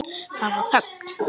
Það varð þögn.